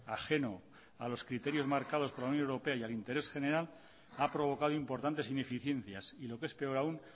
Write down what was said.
ajeno a los criterios marcados por la unión europea y al interés general ha provocado importantes ineficiencias y lo que es peor aún